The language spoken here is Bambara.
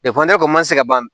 ma se ka ban